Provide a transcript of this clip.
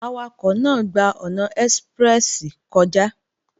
Awakọ̀ náà gba ọ̀nà ẹ́síprẹ́sì kọjá